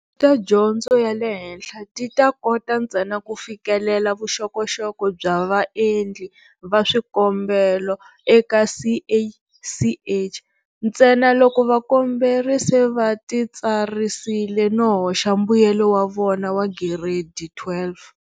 Ta dyondzo ya le henhla ti ta kota ntsena ku fikelela vuxokoxoko bya vaendli va swikombelo eka CACH, ntsena loko vakomberi va se va titsarisile no hoxa mbuyelo wa vona wa Giredi 12.